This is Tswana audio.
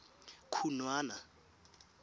khunwana